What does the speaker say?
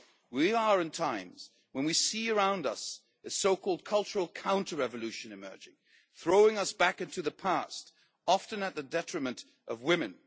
We are in times when we see around us a so called cultural counter revolution emerging, throwing us back into the past, often to the detriment of women.